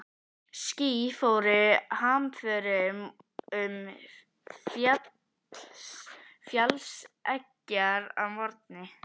Ský fóru hamförum um fjallseggjar að morgni.